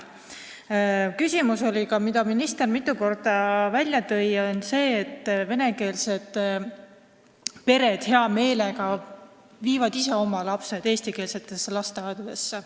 See on küsimus, mida ka minister mitu korda välja tõi: vene pered viivad hea meelega ise oma lapsed eestikeelsetesse lasteaedadesse.